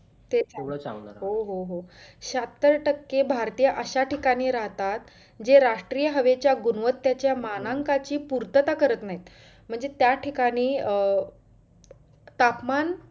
ते हो हो शहात्तर टक्के भारतीय अश्या ठिकाणी राहतात जे राष्ट्रीय हवेच्या गुणवतेच्या मानांकाची पूर्तता करत नाहीत म्हणजे त्या ठिकाणी अं तापमान